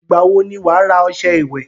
Ìgbà wo ni wàá rà ọṣẹ ìwẹ̀?